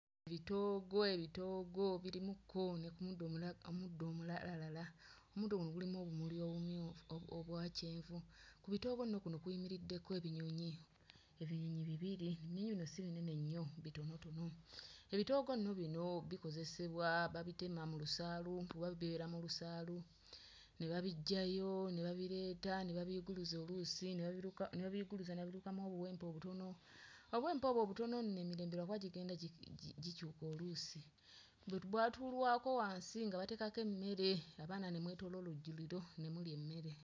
Bitoogo ebitoogo birimu ko ne ku muddo omula omuddo omulala, omuddo guno gulimu obumuli obumyu, oo obwa kyenvu, ku bitoogo nno kuno kuyimiriddeko ebinyonyi, ebinyonyi bibiri, ebinyonyi bino si binene nnyo bitonotono. Ebitoogo nno bino bikozesebwa babitema mu lusaalu kuba bibeera mu lusaalu ne babiggyayo ne babireeta ne babiyuguluza oluusi ne babiruka ne babiyuguluza ne babirukamu obuwempe obutono, obuwempe obwo obutono nno emirembe lwakuba gigenda gi gi gikyuka oluusi bu bwatulwako wansi nga bateekako emmere abaana ne mwetooloola olujjuliro ne mulya emmere.